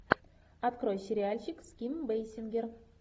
открой сериальчик с ким бейсингер